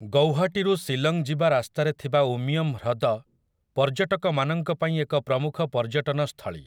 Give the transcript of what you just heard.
ଗୌହାଟୀରୁ ଶିଲଂ ଯିବା ରାସ୍ତାରେ ଥିବା ଉମିୟମ୍ ହ୍ରଦ ପର୍ଯ୍ୟଟକମାନଙ୍କ ପାଇଁ ଏକ ପ୍ରମୁଖ ପର୍ଯ୍ୟଟନ ସ୍ଥଳୀ ।